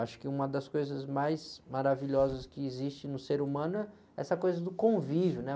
Acho que uma das coisas mais maravilhosas que existe no ser humano é essa coisa do convívio, né?